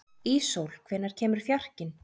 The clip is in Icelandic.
Íssól, hvenær kemur fjarkinn?